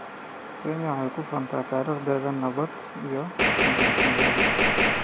Kenya waxay ku faantaa taariikhdeeda nabadda iyo midnimada.